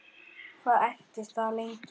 Og hvað entist það lengi?